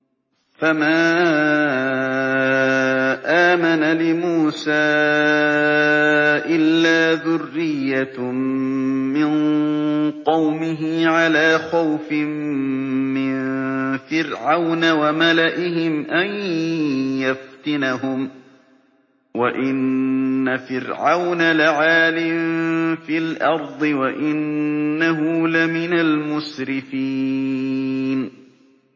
فَمَا آمَنَ لِمُوسَىٰ إِلَّا ذُرِّيَّةٌ مِّن قَوْمِهِ عَلَىٰ خَوْفٍ مِّن فِرْعَوْنَ وَمَلَئِهِمْ أَن يَفْتِنَهُمْ ۚ وَإِنَّ فِرْعَوْنَ لَعَالٍ فِي الْأَرْضِ وَإِنَّهُ لَمِنَ الْمُسْرِفِينَ